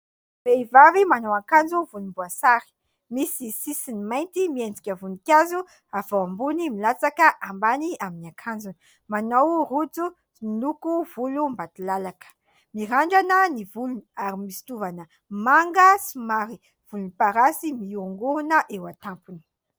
vehivavy manao ankanjo volom-boasary ,misy sisiny mainty miendrika ka voninkazo avy ao ambony milatsaka ambany amin'ny ankanjony; manao rojo miloko volo mbatilalaka; mirandrana ny volony ary misy tovana manga somary voloparasy miorongorona eo an-tampony